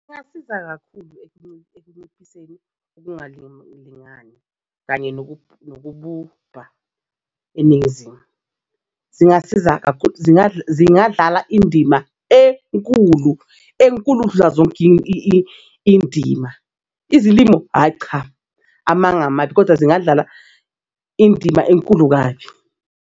Kungasiza kakhulu ekunciphiseni ukungulingani kanye nokububha eNingizimu zingasiza kakhulu. Zingadlala indima enkulu enkulu ukudla zonke indima izilimo ayicha amanga amabi, kodwa zingadlala indima enkulu kabi.